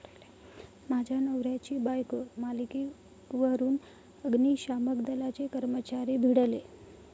माझ्या नवऱ्याची बायको' मालिकेवरून अग्निशमन दलाचे कर्मचारी भिडले